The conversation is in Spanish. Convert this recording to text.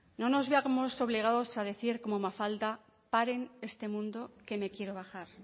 no nos veamos obligados a decir como mafalda paren este mundo que me quiero bajar